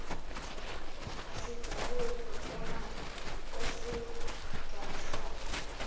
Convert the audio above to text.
esibhaliwe proforma osigcwalisayo